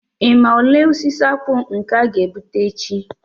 Ị ma ole osisi akpu nke a ga-egbute echi